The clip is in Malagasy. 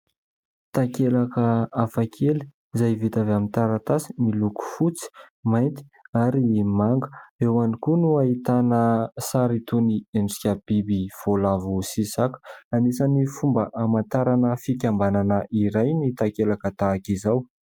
Takelaka hafa kely izay vita avy amin'ny taratasy miloko fotsy, mainty ary ny manga. Eo ihany koa no ahitana sary toy ny endrika biby voalavo sy saka. Anisan'ny fomba hamantarana fikambanana iray ny takelaka tahaka izao.